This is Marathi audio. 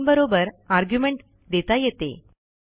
manबरोबर आर्ग्युमेंट देता येते